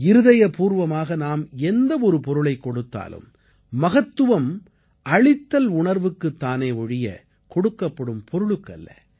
இருதயப்பூர்வமாக நாம் எந்த ஒரு பொருளைக் கொடுத்தாலும் மகத்துவம் அளித்தல் உணர்வுக்குத் தானே ஒழிய கொடுக்கப்படும் பொருளுக்கு அல்ல